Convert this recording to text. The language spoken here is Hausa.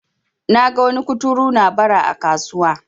naga wani kuturu na Bara a kasuwa